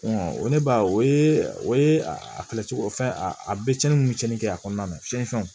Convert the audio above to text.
ne b'a o ye o ye a cogo o fɛn a a bɛ cɛnni mun tiɲɛnni kɛ a kɔnɔna na cɛnfɛnw